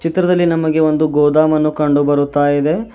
ಚಿತ್ರದಲ್ಲಿ ನಮಗೆ ಒಂದು ಗೋದಾಮನ್ನು ಕಂಡು ಬರುತಾ ಇದೆ.